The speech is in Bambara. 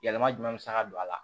Yɛlɛma jumɛn bɛ se ka don a la